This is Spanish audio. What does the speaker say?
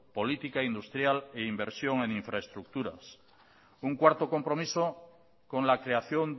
política industrial e inversión en infraestructuras un cuarto compromiso con la creación